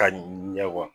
Ka ɲɛ wa